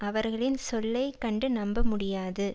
அவர்களின் சொல்லை கண்டு நம்ப முடியாது